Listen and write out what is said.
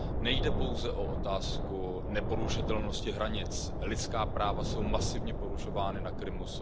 Nejde pouze o otázku neporušitelnosti hranic, lidská práva jsou masivně porušována na Krymu.